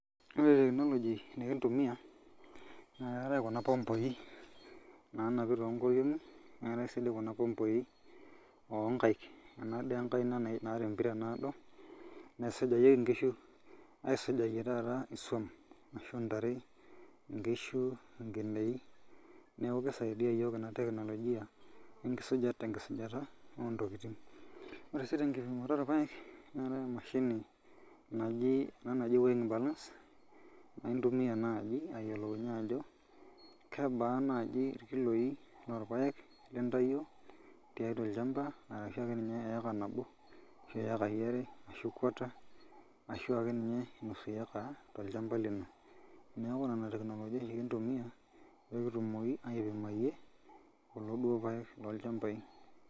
Ore technology nikintumia nakeetae kuna pompoi nanapi tonkoriong'i, neetae si di kuna pompoi onkaik. Ena di enkaina naata empira naado, naisujayieki nkishu aisujayie taata isuam ashu ntare, nkishu, nkineji, neeku kisaidia yiok ena teknolojia tenkisujata ontokiting. Ore si tenkipimoto orpaek, netae emashini naji ena naji weigh balance, nintumia naji ayiolounye ajo kebaa naji inkiloi orpaek nintayio tiatua olchamba ashunye eeka nabo ashu ekai are ashu quarter, ashu akeninye nusu eka tolchamba lino. Neeku nena teknolojia yiok kintumia pekitumoki aipimayie kulo duo paek lolchambai.